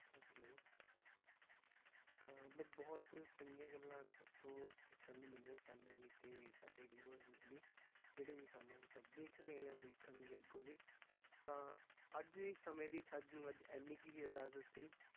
ਤਾਂ ਮਤਲਬ ਬਹੁਤ ਚੰਗੀਆਂ ਗੱਲਾਂ ਤੁਹਾਡੇ ਤੋਂ ਸਿੱਖਣ ਨੂੰ ਮਿਲੀਆਂ ਸਾਨੂੰ ਵੀ ਤੇ ਸਾਡੇ viewers ਨੂੰ ਵੀ, ਜਿਹੜੀ ਵੀ ਸਾਨੂੰ ਤਾਂ ਦੇਖ ਰਹੇ ਆ ਦੇਖਣਗੇ ਅੱਗੋਂ ਵੀ, ਤਾਂ ਅੱਜ ਇਹ ਸਮੇਂ ਦੀ ਸਾਨੂੰ ਅੱਜ ਇੰਨੀ ਕੁ ਹੀ ਇਜਾਜ਼ਤ ਸੀ,